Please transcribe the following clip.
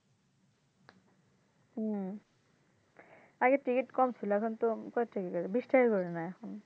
হুম। আগে ticket কম ছিলো এখন তো কয় টাকা বিশ টাকা করে নেয় এখন